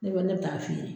Ne bɛ ne bɛ taa feere